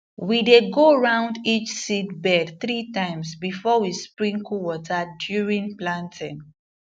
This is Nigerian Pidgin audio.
we dey go round each seedbed three times before we sprinkle water during planting